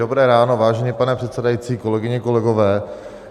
Dobré ráno, vážený pane předsedající, kolegyně, kolegové.